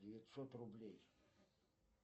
девятьсот рублей